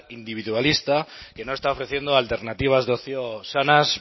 individualista que no está ofreciendo alternativas de ocio sanas